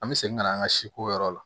An bɛ segin ka na an ka siko yɔrɔ la